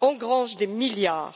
engrangent des milliards.